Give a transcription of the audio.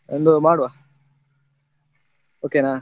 ಒಂದು ಮಾಡುವ okay ನಾ?